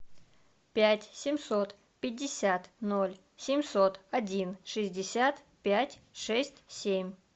пять семьсот пятьдесят ноль семьсот один шестьдесят пять шесть семь